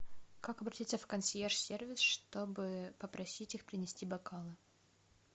как обратиться в консьерж сервис чтобы попросить их принести бокалы